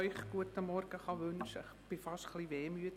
Ich bin fast ein bisschen wehmütig.